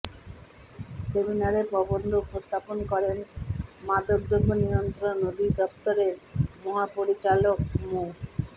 সেমিনারে প্রবন্ধ উপস্থাপন করেন মাদকদ্রব্য নিয়ন্ত্রন অধিদফতরের মহাপরিচালক মো